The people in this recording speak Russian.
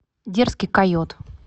дерзкий койот